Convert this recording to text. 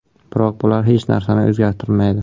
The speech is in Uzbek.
Biroq bular hech narsani o‘zgartirmaydi.